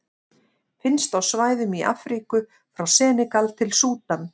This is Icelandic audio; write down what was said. Finnst á svæðum í Afríku frá Senegal til Súdan.